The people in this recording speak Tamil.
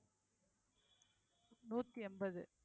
நூத்தி எண்பது